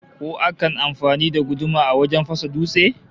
Ko akan yi amfani da guduma wajen fasa dutse?